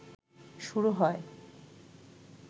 শুরু হয়।